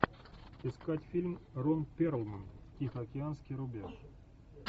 искать фильм рон перлман тихоокеанский рубеж